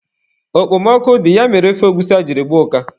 Okpomọkụ dị, ya mere ofe egwusi a jiri gbaa ụka.